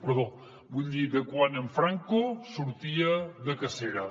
perdó vull dir de quan en franco sortia de cacera